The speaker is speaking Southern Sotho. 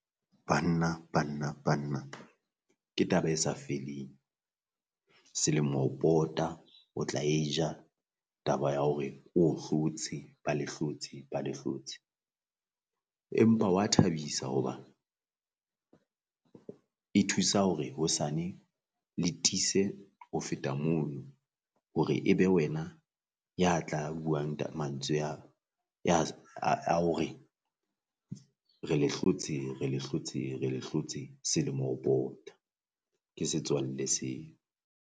Banna banna banna ke taba e sa feleng selemo ho pota o tla e ja taba ya hore o hlotse ba le hlotse ba le hlotse, empa hwa thabisa hoba e thusa hore hosane le tiise ho feta mono, hore e be wena ya tla buang ta mantswe a ya a a hore re le hlotse re le hlotse re le hlotse selemo ho pota ke setswalle seo.